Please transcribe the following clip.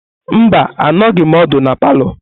Mba, anọghim ódu na palọ.